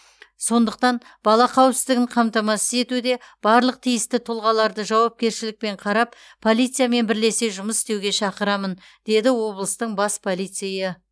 сондықтан бала қауіпсіздігін қамтамасыз етуде барлық тиісті тұлғаларды жауапкершілікпен қарап полициямен бірлесе жұмыс істеуге шақырамын деді облыстың бас полицейі